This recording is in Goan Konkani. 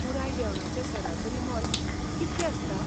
पुराय जेवणाचें सरासरी मोल कि तलें आसता?